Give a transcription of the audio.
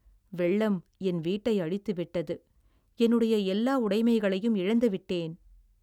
வெள்ளம் என் வீட்டை அழித்து விட்டது, என்னுடைய எல்லா உடைமைகளையும் இழந்து விட்டேன்.